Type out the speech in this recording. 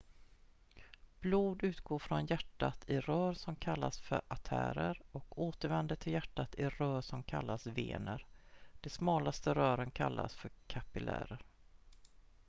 blod utgår från hjärtat i rör som kallas för artärer och återvänder till hjärtat i rör som kallas vener de smalaste rören kallas för kapillärer